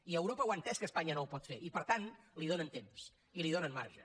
i europa ho ha entès que espanya no ho pot fer i per tant li donen temps i li donen marge